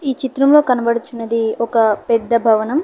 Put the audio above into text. ఈ చిత్రంలో కనబడుచున్నది ఒక పెద్ద భవనం.